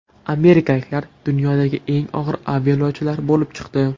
Amerikaliklar dunyodagi eng og‘ir aviayo‘lovchilar bo‘lib chiqdi.